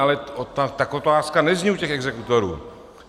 Ale tak otázka nezní u těch exekutorů.